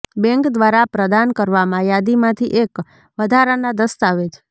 bank દ્વારા પ્રદાન કરવામાં યાદીમાંથી એક વધારાનાં દસ્તાવેજ